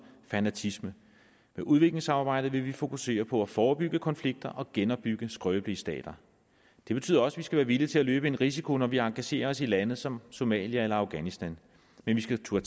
og fanatisme med udviklingssamarbejdet vil vi fokusere på at forebygge konflikter og genopbygge skrøbelige stater det betyder også at vi skal være villige til at løbe en risiko når vi engagerer os i lande som somalia eller afghanistan men vi skal turde